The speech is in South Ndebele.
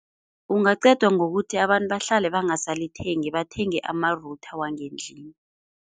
Kungaqedwa ngokuthi abantu bahlale bangasalithengi, bathenge ama-router wangendlini.